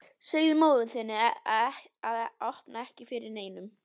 Segðu móður þinni að opna ekki fyrir neinum.